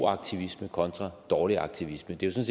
aktivisme kontra dårlig aktivisme det er jo